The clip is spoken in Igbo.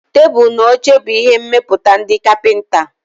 Tebụl na oche bụ ihe mmepụta ndị kapịnta.